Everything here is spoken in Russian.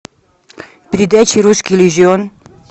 передача русский иллюзион